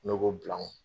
Nɔgɔ bilan